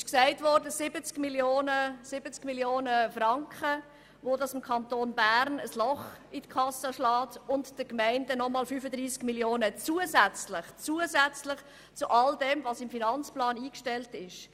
Dadurch würde dem Kanton Bern ein Loch von 70 Mio. Franken in der Kasse entstehen und den Gemeinden eines von 35 Mio. Franken, zusätzlich zu all dem, was im Finanzplan eingestellt ist.